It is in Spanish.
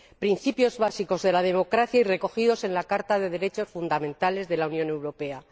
principios básicos de la democracia y recogidos en la Carta de los Derechos Fundamentales de la Unión Europea.